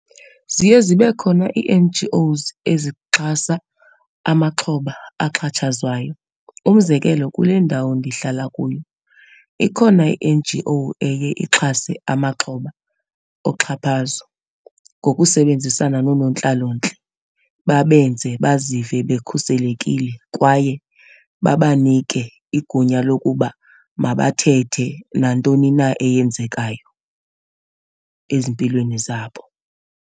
Ziye zibe khona ii-N_G_Os ezixhasa amaxhoba axhatshazwayo. Umzekelo, kule ndawo ndihlala kuyo ikhona i-N_G_O eye ixhase amaxhoba oxhaphazo, ngokusebenzisana noonontlalontle babenze bazive bekhuselekile kwaye babanike igunya lokuba mabathethe nantoni na eyenzekayo ezimpilweni zabo.